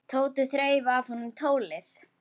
Tóti þreif af honum tólið.